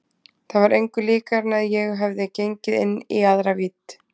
Það var engu líkara en að ég hefði gengið inn í aðra vídd.